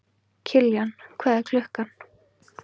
Kiljan, hvað er klukkan?